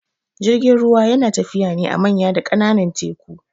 Jirgin ruwa yana tafiya ne a manya da kananan teku